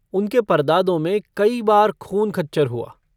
उनके परदादों में कई बार खून खच्चर हुआ।